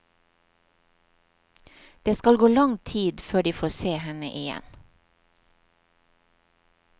Det skal gå lang tid før de får se henne igjen.